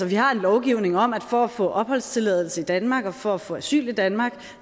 vi har en lovgivning om at man for at få opholdstilladelse i danmark og for at få asyl i danmark